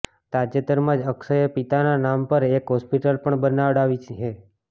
તાજેતરમાં જ અક્ષયે પિતાના નામ પર એક હોસ્પિટલ પણ બનાવડાવી છે